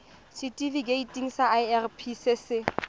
setifikeiting sa irp se se